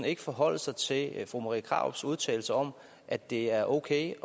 ikke forholde sig til fru marie krarups udtalelser om at det er okay